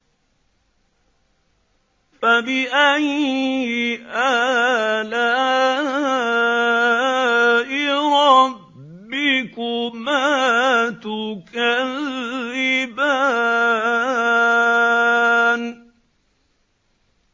فَبِأَيِّ آلَاءِ رَبِّكُمَا تُكَذِّبَانِ